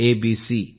ABC